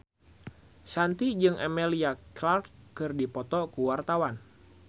Shanti jeung Emilia Clarke keur dipoto ku wartawan